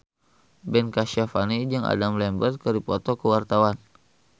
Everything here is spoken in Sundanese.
Ben Kasyafani jeung Adam Lambert keur dipoto ku wartawan